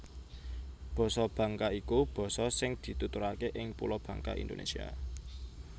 Basa Bangka iku basa sing dituturaké ing Pulo Bangka Indonésia